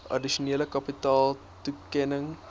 addisionele kapitale toekenning